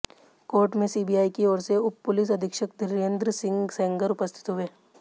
court में CBI की ओर से उप पुलिस अधीक्षक धीरेंद्र सिंह सेंगर उपस्थित हुए